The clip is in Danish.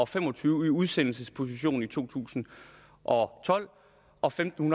fem og tyve i udsendelsesposition i to tusind og tolv og femten